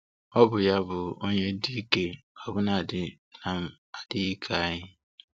Ọ bụ ya bụ onye dị ike ọbụnadị na-adịghị ike anyị.